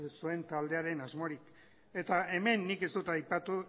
ez zuen taldearen asmorik eta hemen nik ez dut aipatu